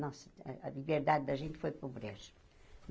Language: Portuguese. Nossa, a a liberdade da gente foi para o brejo.